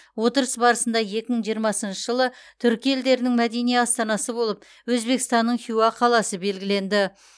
отырыс барысында екі мың жиырмасыншы жылы түркі елдерінің мәдени астанасы болып өзбекстанның хиуа қаласы белгіленді